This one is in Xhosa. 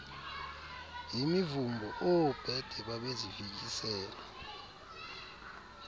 yimivumbo oobhede babezifikisela